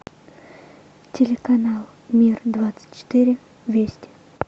телеканал мир двадцать четыре вести